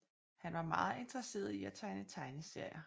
Han var meget interesseret i at tegne tegneserier